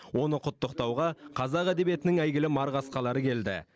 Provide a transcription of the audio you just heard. оны құттықтауға қазақ әдебиетінің әйгілі марқасқалары келді